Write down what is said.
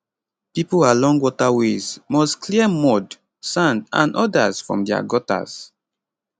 pipo along waterways must clear mud sand and odas from dia gutters